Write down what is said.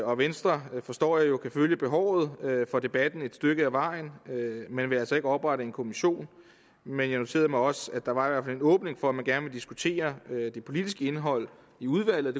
og venstre forstår jeg jo kan følge behovet for debatten et stykke ad vejen men vil altså ikke oprette en kommission men jeg noterede mig også at der var en åbning for at man gerne ville diskutere det politiske indhold i udvalget